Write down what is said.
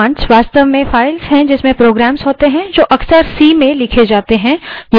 commands वास्तव में files हैं जिसमें programs होते हैं जो अक्सर c में लिखी जाती हैं